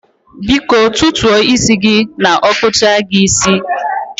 Biko tutuo isi gi n okpucha gi isi